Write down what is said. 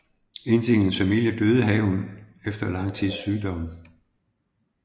Ifølge hendes familie døde hun efter lang tids sygdom